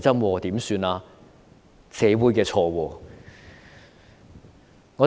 難道是社會的錯？